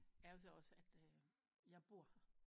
Er jo så også at øh jeg bor her